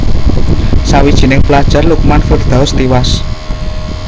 Sawijining pelajar Lukman Firdaus tiwas